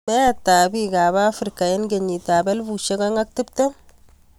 Meet ap piik AP afrika eng kenyiit ap elfusiek oeng ak tiptem